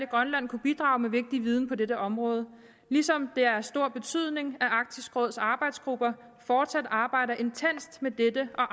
grønland kunne bidrage med vigtig viden på dette område ligesom det er af stor betydning at arktisk råds arbejdsgrupper fortsat arbejder intenst med dette og